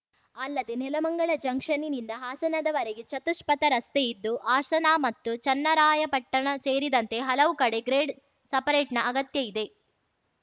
ಅಲ್ಲದೆ ನೆಲಮಂಗಲ ಜಂಕ್ಷನ್‌ನಿಂದ ಹಾಸನದವರೆಗೆ ಚತುಷ್ಪಥ ರಸ್ತೆ ಇದ್ದು ಹಾಸನ ಮತ್ತು ಚನ್ನರಾಯಪಟ್ಟಣ ಸೇರಿದಂತೆ ಹಲವು ಕಡೆ ಗ್ರೇಡ್‌ ಸಪರೇಟ್ ನ ಅಗತ್ಯ ಇದೆ